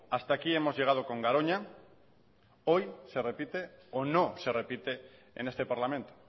hasta aquí hemos llegado con garoña hoy se repite o no se repite en este parlamento